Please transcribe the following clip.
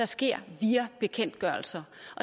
sker via bekendtgørelser